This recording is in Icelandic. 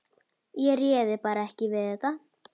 Ég réði bara ekki við þetta.